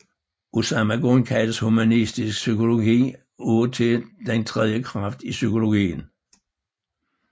Af samme grund kaldes humanistisk psykologi af og til den tredje kraft i psykologien